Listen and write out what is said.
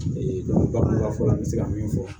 bagan fɔla an bɛ se ka min fɔ